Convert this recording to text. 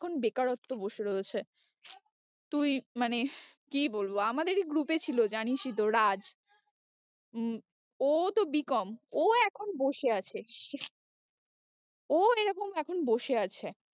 এখন বেকারত্ব বসে রয়েছে তুই মানে কি বলবো আমাদেরই group এ ছিল জানিসই তো রাজ হম ও তো B. com ও এখন বসে আছে ও এরকম এখন বসে আছে।